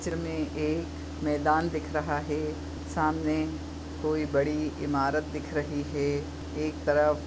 इसमे एक मैदान दिख रहा है सामने कोई बड़ी इमारत दिख रही है। एक तरफ--